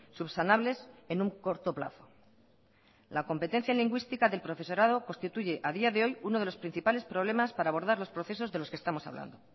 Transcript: subsanables en un corto plazo la competencia lingüística del profesorado constituye a día de hoy uno de los principales problemas para abordar los procesos de los que estamos hablando